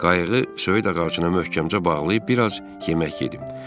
Qayığı söyüd ağacına möhkəmcə bağlayıb bir az yemək yedim.